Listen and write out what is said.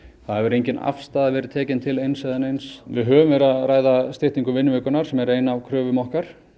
hefur engin afstaða verið tekin til eins eða neins við höfum verið að ræða styttingu vinnuvikunnar sem er ein af kröfum okkar